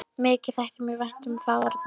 Mikið þætti mér vænt um það, Arnar minn!